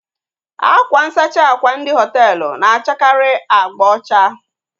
Akwa nsachi àkwà ndị hoteelu na-achakari abga ocha